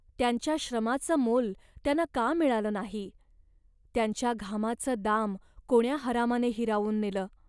त्यांच्या श्रमाचं मोल त्यांना का मिळालं नाही. त्यांच्या घामाचं दाम कोण्या हरामाने हिरावून नेलं